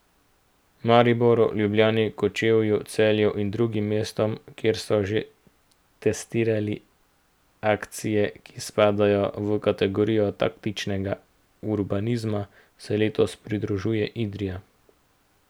Mariboru, Ljubljani, Kočevju, Celju in drugim mestom, kjer so že testirali akcije, ki spadajo v kategorijo taktičnega urbanizma, se letos pridružuje Idrija.